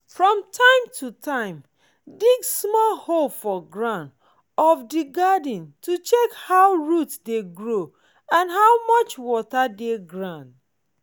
from time to time dig small hole for ground of di garden to check how roots dey grow and how much water dey ground